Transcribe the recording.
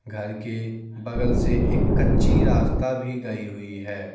घर के बगल से एक कच्ची रास्ता भी गई हुई है।